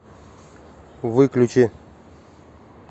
выключи